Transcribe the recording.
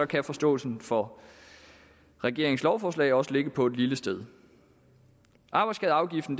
kan forståelsen for regeringens lovforslag også ligge på et lille sted arbejdsskadeafgiften